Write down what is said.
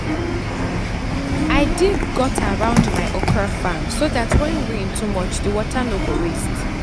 i dig gutter round my okra farm so dat when rain too much the water no go waste.